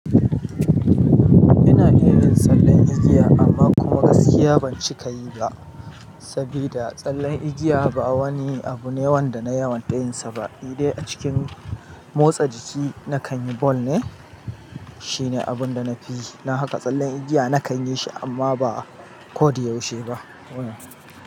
Ina irin tsallen igiya amma kuma gaskiya ban cika yi ba, sabida tsallen igiya ba wani abu ne wanda na yawon tayinsa ba. Nidai a cikin motsa jiki na kan yi ball ne, shine abun da na fi yi. Na haka tsallen igiya na kan yi shi amma ba ko da yaushe ba.